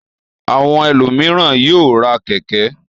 Àwọn ẹlòmíràn yóò ra kẹ̀kẹ́.